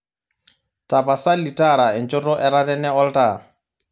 tapasali tara enchoto etatene oltaa